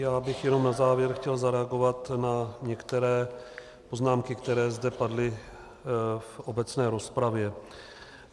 Já bych jenom na závěr chtěl zareagovat na některé poznámky, které zde padly v obecné rozpravě.